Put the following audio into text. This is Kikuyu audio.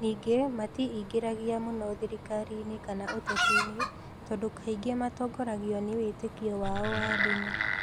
Ningĩ matiĩingĩragia mũno thirikari-inĩ kana ũteti-inĩ, tondũ kaingĩ matongoragio nĩ wĩtĩkio wao wa ndini.